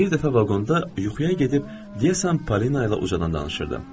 Bir dəfə vaqonda yuxuya gedib, deyəsən Polinayla ucadan danışırdım.